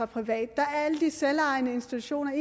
private der er alle de selvejende institutioner